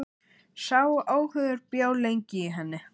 Sá óhugur bjó lengi í henni.